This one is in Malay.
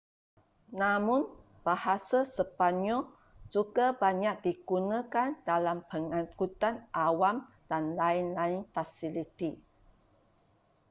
namun bahasa sepanyol juga banyak digunakan dalam pengankutan awam dan lain-lain fasiliti